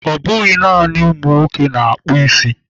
Ọ bụghị naanị nwoke na-akpụ isi.